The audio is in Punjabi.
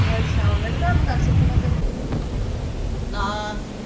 ਅੱਛਾ ਓਹਨੇ ਨੀ ਕੰਮ ਕਾਰ ਸਿੱਖਣਾ ਕੋਈ